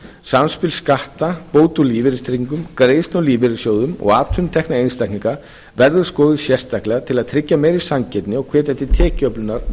samspil skatta bóta úr lífeyristryggingu greiðslu úr lífeyrissjóðum og atvinnutekna einstaklinga verður skoðuð sérstaklega til að tryggja meiri sanngirni og hvetja til tekjuöflunar og